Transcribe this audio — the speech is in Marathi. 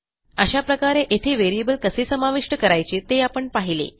अशा प्रकारे येथे व्हेरिएबल कसे समाविष्ट करायचे ते आपण पाहिले